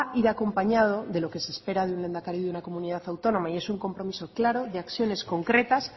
ir acompañado de lo que se espera de un lehendakari de una comunidad autónoma y es un compromiso claro de acciones concretas